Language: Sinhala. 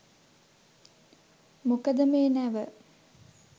මොකද මේ නැව